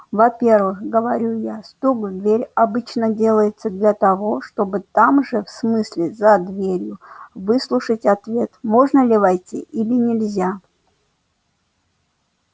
во-первых говорю я стук в дверь обычно делается для того чтобы там же в смысле за дверью выслушать ответ можно ли войти или нельзя